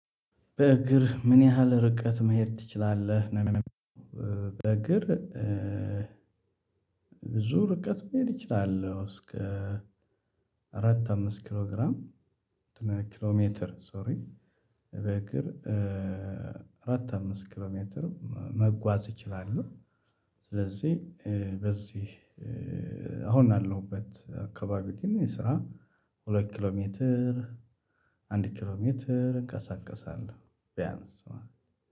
በእግር ምን ያህል ርቀት መሄድ ትችላለህ? በእግር ብዙ ርቀት መሄድ እችላለው። እስከ አራት አምስት ኪሎ ግራም ኪሎ ሜትር ሶሪ። በእግር አራት አምስት ኪሎ ሜትር መጓዝ እችላለው። ስለዚህ በዚህ አሁን ያለውበት አካባቢ ግን ስራ ሁለት ኪሎ ሜትር አንድ ኪሎ ሜትር እንቀሳቀሳለው ቢያንስ ማለት ነው።